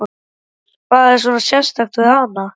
Magnús: Hvað er svona sérstakt við hann?